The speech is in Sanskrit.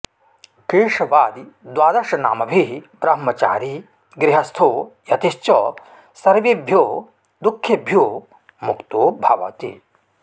केशवादिद्वादशनामभिः ब्रह्मचारी गृहस्थो यतिश्च सर्वेभ्यो दुःखेभ्यो मुक्तो भवति